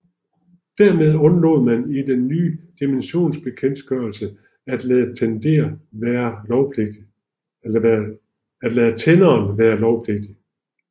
Dermed undlod man i den nye dimensioneringsbekendtgørelse at lade tenderen være lovpligtig